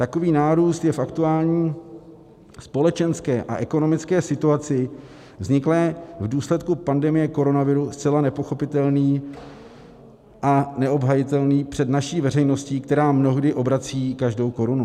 Takový nárůst je v aktuální společenské a ekonomické situaci vzniklé v důsledku pandemie koronaviru zcela nepochopitelný a neobhajitelný před naší veřejností, která mnohdy obrací každou korunu.